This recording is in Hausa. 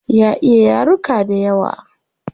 Ya iya yaruka dayawa